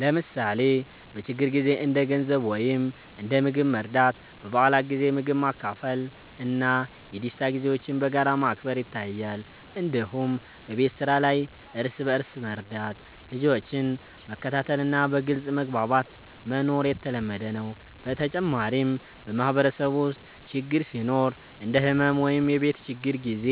ለምሳሌ በችግር ጊዜ እንደ ገንዘብ ወይም እንደ ምግብ መርዳት፣ በበዓላት ጊዜ ምግብ ማካፈል እና የደስታ ጊዜዎችን በጋራ ማክበር ይታያል። እንዲሁም በቤት ስራ ላይ እርስ በእርስ መርዳት፣ ልጆችን መከታተል እና በግልጽ መግባባት መኖር የተለመደ ነው። በተጨማሪም በማህበረሰብ ውስጥ ችግር ሲኖር እንደ ሕመም ወይም የቤት ችግር ጊዜ